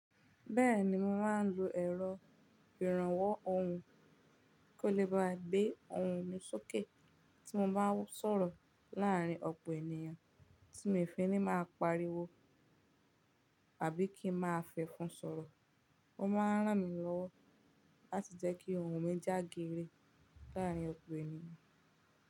Bẹ́ẹ̀ni mo máa ń lo ẹ̀rọ ìrànwọ́ ohùn kí ó lè bá gbé ohùn mi sókè tí mo bá ń sọ̀rọ̀ láàárín ọ̀pọ̀ ènìyàn tí mi ò fẹ́ ní máa pariwo àbí kí ń máa fẹ́ fún sọ̀rọ̀. Ó máa ń ràn mí lọ́wọ́ láti jẹ́ kí ohùn mi jágere láàárín ọ̀pọ̀ ènìyàn.